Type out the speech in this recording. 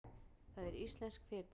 Það er íslenskt fyrirtæki.